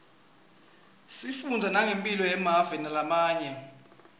sifundza nangemphilo yemave lamanye